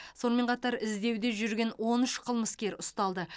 сонымен қатар іздеуде жүрген он үш қылмыскер ұсталды